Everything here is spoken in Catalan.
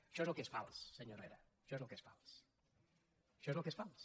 això és el que és fals senyor herrera això és el que és fals això és el que és fals